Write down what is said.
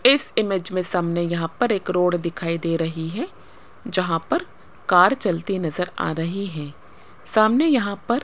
इस इमेज में सामने यहां पर एक रोड दिखाई दे रही है जहां पर कार चलती नजर आ रही है सामने यहां पर--